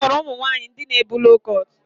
M hụrụ ụmụ nwanyị ndị na ebu loo kọt